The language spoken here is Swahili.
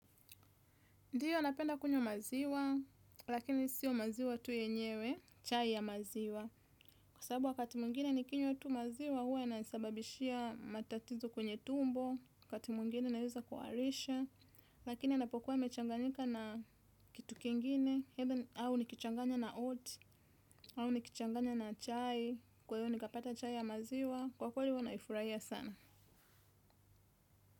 Ndiyo napenda kunywa maziwa, lakini sio maziwa tu yenyewe, chai ya maziwa. Kwa sababu wakati mwingine nikinywa tu maziwa, huwa yanasababishia matatizo kwenye tumbo, wakati mwingine naeza kuharisha, lakini anapokuwa amechanganyika na kitu kingine, au nikichanganya na oat, au nikichanganya na chai, kwa hiyo nikapata chai ya maziwa, kwa kweli huwa naifurahia sana.